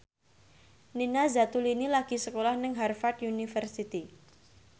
Nina Zatulini lagi sekolah nang Harvard university